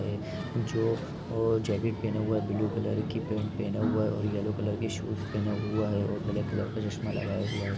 जो और जाकिट पेहना हुआ है ब्लू कलर कि पैंट पेहना हुआ है येलो कलर कि शूज पेहना हुआ है और ब्लैक कलर के चश्मा लगाया हुआ है।